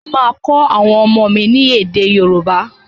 Mo máa kọ́ àwọn ọmọ mi ni èdè yóòbá